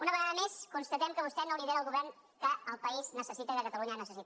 una vegada més constatem que vostè no lidera el govern que el país necessita que catalunya necessita